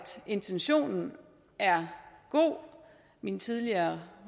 intentionen er god min tidligere